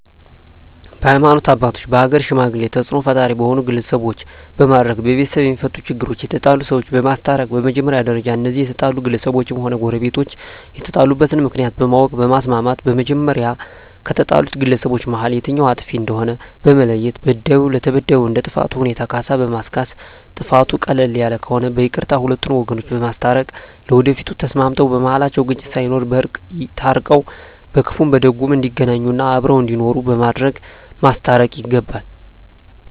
በሀይማኖት አባቶች በሀገር ሽማግሌ ተፅእኖ ፈጣሪ በሆኑ ግለሰቦች በማድረግ በቤተሰብ የማፈቱ ችግሮች የተጣሉ ሰዎችን በማስታረቅ በመጀመሪያ ደረጃ እነዚያ የተጣሉ ግለሰቦችም ሆነ ጎረቤቶች የተጣሉበትን ምክንያት በማወቅ በማስማማት በመጀመሪያ ከተጣሉት ግለሰቦች መሀል የትኛዉ አጥፊ እንደሆነ በመለየት በዳዩ ለተበዳዩ እንደ ጥፋቱ ሁኔታ ካሳ በማስካስ ጥፋቱ ቀለል ያለ ከሆነ በይቅርታ ሁለቱን ወገኖች በማስታረቅ ለወደፊቱ ተስማምተዉ በመሀላቸዉ ግጭት ሳይኖር በእርቅ ታርቀዉ በክፉም በደጉም እንዲገናኙ እና አብረዉ እንዲኖሩ በማድረግ ማስታረቅ ይገባል